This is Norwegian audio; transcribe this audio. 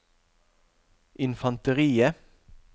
infanteriet